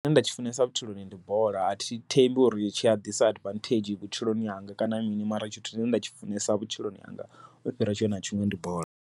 Tshine nda tshi funesa vhutshiloni ndi bola athi thembi uri tshiya ḓisa advantage vhutshiloni hanga, kana mini mara tshithu tshine nda tshi funesa vhutshiloni hanga u fhira tshiṅwe na tshiṅwe ndi bola.